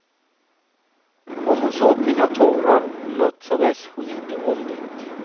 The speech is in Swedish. Om hon såg mina tårar, låtsades hon inte om det.